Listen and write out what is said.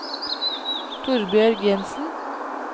Torbjørg Jensen